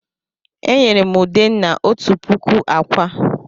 E nyere m Udenna òtù puku ákwà.